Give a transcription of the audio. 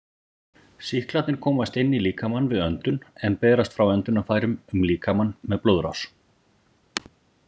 Sýklarnir komast inn í líkamann við öndun en berast frá öndunarfærum um líkamann með blóðrás.